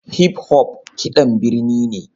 Hip-hop kiɗan birni ne